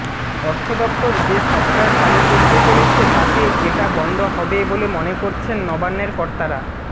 অর্থদফতর যে সফটওয়্যার চালু করতে চলেছে তাতে এটা বন্ধ হবে বলে মনে করছেন নবান্নের কর্তারা